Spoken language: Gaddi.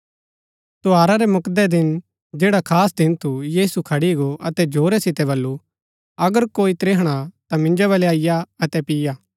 त्यौहारा रै मुक्दै दिन जैडा खास दिन थू यीशु खड़ी गो अतै जोरा सितै बल्लू अगर कोई त्रिहणा हा ता मिन्जो वलै अईआ अतै पिय्आ